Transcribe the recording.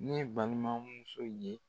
Ne balimamuso ye.